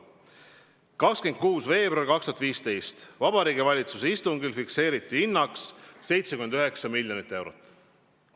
26. veebruaril 2015 fikseeriti Vabariigi Valitsuse istungil piiriehituse hinnaks 79 miljonit eurot.